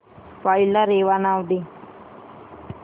file ला रेवा नाव दे